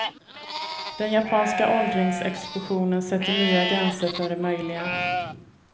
Den japanska åldringsexplosionen sätter nya gränser för det möjliga.